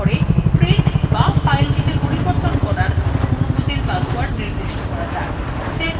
এর পরে print বা ফাইলটি পরিবর্তন করতে অনুমতির পাসওয়ার্ড নির্দিষ্ট করা যাক